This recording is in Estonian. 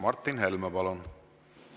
Martin Helme, palun!